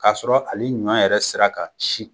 K'a sɔrɔ ali ɲɔ yɛrɛ sira kan si